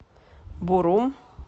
бурум